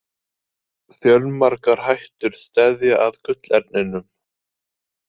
Fjölmargar hættur steðja að gullerninum.